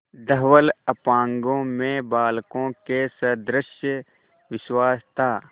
धवल अपांगों में बालकों के सदृश विश्वास था